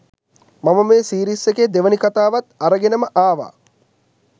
මම මේ සීරිස් එකේ දෙවෙනි කතාවත් අරගෙනම ආවා